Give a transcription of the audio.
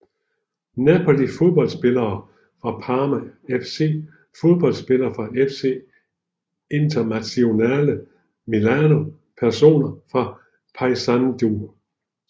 Napoli Fodboldspillere fra Parma FC Fodboldspillere fra FC Internazionale Milano Personer fra Paysandú